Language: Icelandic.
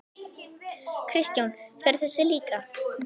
Kristján: Fer þessi líka?